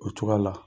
O cogoya la